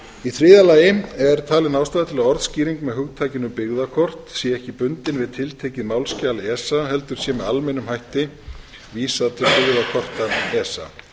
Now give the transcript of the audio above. í þriðja lagi er talin ástæða til að orðskýring með hugtakinu byggðakort sé ekki bundin við tiltekið málsskjal esa heldur sé með almennum hætti vísað til byggðakorta esa